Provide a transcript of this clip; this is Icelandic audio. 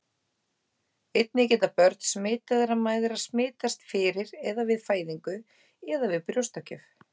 Einnig geta börn smitaðra mæðra smitast fyrir eða við fæðingu eða við brjóstagjöf.